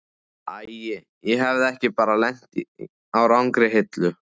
Ætli ég hafi ekki bara lent á rangri hillu.